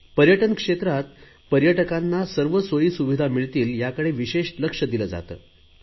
पर्यटन क्षेत्रात पर्यटकांना सर्व सोयी सुविधा मिळतील याकडे विशेष लक्ष दिले जाते